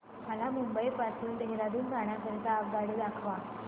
मला मुंबई पासून देहारादून जाण्या करीता आगगाडी दाखवा